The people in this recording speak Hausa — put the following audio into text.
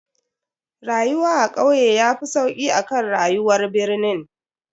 Rayuwa a kauye yafi sauki akan rayuwar birnin.